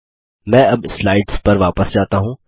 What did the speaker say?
मैं अब स्लाइड्स पर वापस जाता हूँ